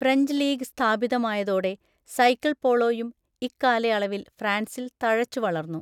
French league സ്ഥാപിതമായതോടെ cycle പോളോയും ഇക്കാലയളവിൽ ഫ്രാൻസിൽ തഴച്ചുവളർന്നു.